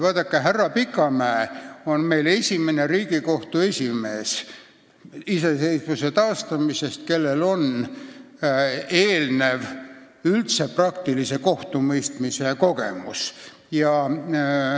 Vaadake, härra Pikamäe on meil taasiseseisvusaja esimene Riigikohtu esimees, kellel on eelnev praktilise kohtumõistmise kogemus olemas.